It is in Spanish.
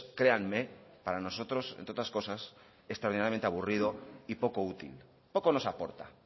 créanme para nosotros entre otras cosas extraordinariamente aburrido y poco útil poco nos aporta